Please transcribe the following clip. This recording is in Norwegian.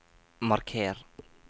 marker